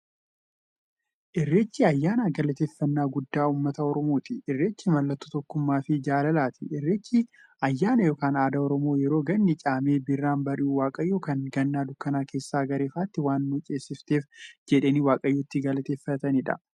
Irreechi ayyaana galateeffnnaa guddaa ummata oromooti. Irreechi mallattoo tokkummaafi jaalalaati. Irreechi ayyaana yookiin aadaa Oromoo yeroo ganni caamee birraan bari'u, waaqayyoon kan Ganna dukkana keessaa gara ifaatti waan nu ceesifteef jedhanii waaqa itti galateeffataniidha.